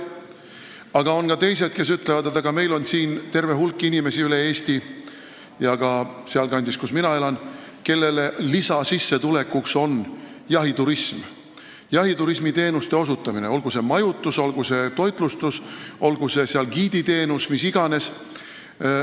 Aga on ka teised, kes ütlevad, et terve hulk inimesi on üle Eesti – ka sealkandis, kus mina elan –, kelle lisasissetulek on jahiturismiteenuste osutamine, olgu see majutus, olgu see toitlustus, olgu see giiditeenus, mis iganes.